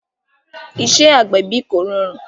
Iṣẹ́ agbẹ̀bí kò rọrùn